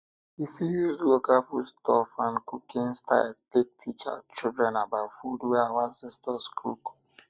we fit use local food stuff and cooking style take teach children about food wey our ancestor cook